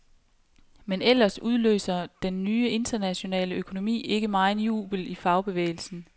Men ellers udløser den nye, internationale økonomi ikke megen jubel i fagbevægelsen.